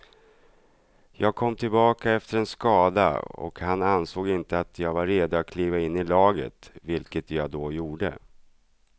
Jag kom tillbaka efter en skada och han ansåg inte att jag var redo att kliva in i laget, vilket jag då gjorde.